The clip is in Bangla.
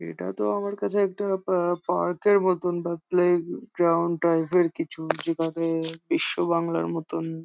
এটা তো আমার কাছে একটা পা পার্ক -এর মতন বা প্লে গ্রাউন্ড টাইপ -এর কিছু যেটাতে বিশ্বাবাংলার মতন ।